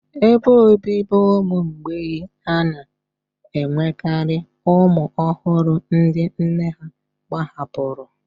Ebe obibi ụmụ mgbei a na-enwekarị ụmụ ọhụrụ ndị nne ha gbahapụrụ